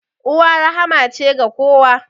Uwa rahma ce ga kowa.